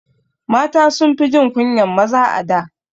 Mata sunfi jin kunyan maza a da